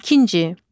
İkinci.